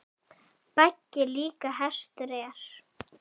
Baggi líka hestur er.